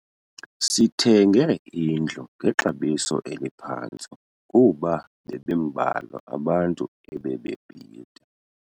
Sithenge indlu ngexabiso eliphantsi kuba bebembalwa abantu ebebebhida.